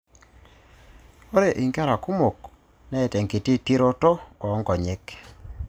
Ore inkera kumok neeta enkiti tiroto oo nkonyek.